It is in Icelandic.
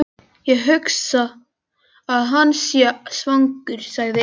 Ég hugsa að hann sé svangur sagði Eiríkur.